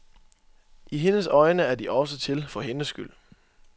I hendes øjne er de også til for hendes skyld.